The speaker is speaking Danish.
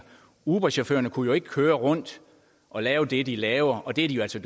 uberchaufførerne kunne køre rundt og lave det de laver og det er jo altså